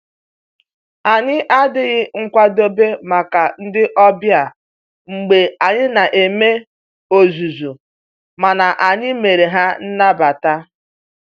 Anyị adịghị nkwadobe maka ndị ọbịa mgbe anyị na eme ozuzu, mana anyị mere ha nnabata